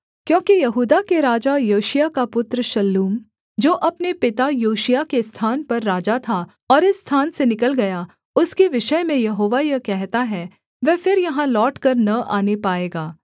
क्योंकि यहूदा के राजा योशिय्याह का पुत्र शल्लूम जो अपने पिता योशिय्याह के स्थान पर राजा था और इस स्थान से निकल गया उसके विषय में यहोवा यह कहता है वह फिर यहाँ लौटकर न आने पाएगा